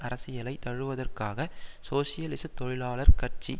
அரசியலை தழுவுவதற்காக சோசியலிச தொழிலாளர் கட்சி